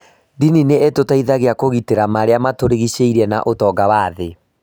Ndini nĩ itũteithagia kũgitĩra marĩa matũrigicĩirie na ũtonga wa thĩ.